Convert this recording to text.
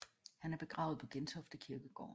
Han er begravet på Gentofte Kirkegård